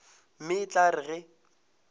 mme e tla re ge